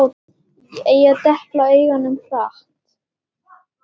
Ég depla augunum hratt.